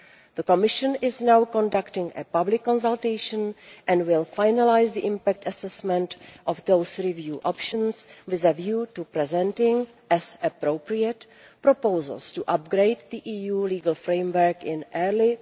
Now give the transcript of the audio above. The Commission is now conducting a public consultation and will finalise the impact assessment on those review options with a view to presenting, as appropriate, proposals to upgrade the EU legal framework in early